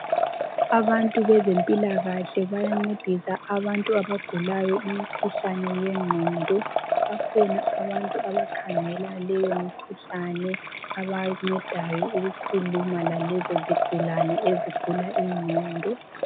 Abantu bezempilakahle bayancedisa abantu abagulayo imikhuhlane yengqondo bakhona abantu abakhangela leyo mikhuhlane abancedayo ukukhuluma lalezo zigulane ezigula ingqondo.